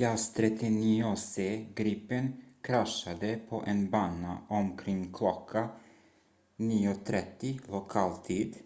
jas 39c gripen kraschade på en bana omkring kl. 9.30 lokal tid